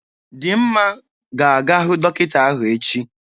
Dimma ga-aga hụ dọkịta ahụ echi.